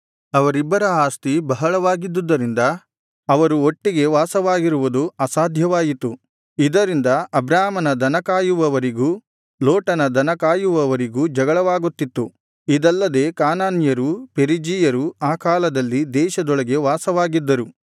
ಅವರಿಬ್ಬರ ಆಸ್ತಿ ಬಹಳವಾಗಿದ್ದುದರಿಂದ ಅವರು ಒಟ್ಟಿಗೆ ವಾಸವಾಗಿರುವುದು ಅಸಾಧ್ಯವಾಯಿತು ಇದರಿಂದ ಅಬ್ರಾಮನ ದನ ಕಾಯುವವರಿಗೂ ಲೋಟನ ದನ ಕಾಯುವವರಿಗೂ ಜಗಳವಾಗುತ್ತಿತ್ತು ಇದಲ್ಲದೆ ಕಾನಾನ್ಯರೂ ಪೆರಿಜೀಯರೂ ಆ ಕಾಲದಲ್ಲಿ ದೇಶದೊಳಗೆ ವಾಸವಾಗಿದ್ದರು